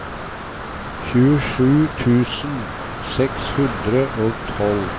tjuesju tusen seks hundre og tolv